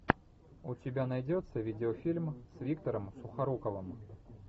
у тебя найдется видеофильм с виктором сухоруковым